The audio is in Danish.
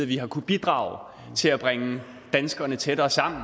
vi har kunnet bidrage til at bringe danskerne tættere sammen